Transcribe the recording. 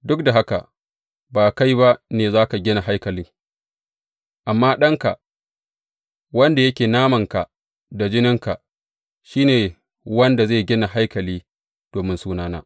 Duk da haka, ba kai ba ne za ka gina haikali, amma ɗanka, wanda yake namanka da jininka, shi ne wanda zai gina haikali domin Sunana.’